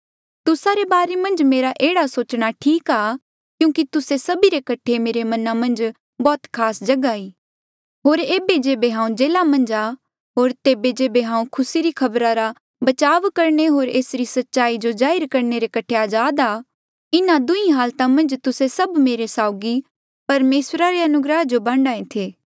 तुस्सा रे बारे मन्झ मेरा एह्ड़ा सोचना ठीक ई आ क्यूंकि तुस्से सभी रे कठे मेरे मना मन्झ बौह्त खास जगहा ई होर ऐबे जेबे हांऊँ जेल्हा मन्झ आ होर तेबे जेबे हांऊँ खुसी री खबरा रा बचाव करणे होर एसरी सच्चाई जो जाहिर करणे रे कठे अजाद था इन्हा दुहीं हालता मन्झ तुस्से सभ मेरे साउगी परमेसरा रे अनुग्रह जो बांडा ऐें थे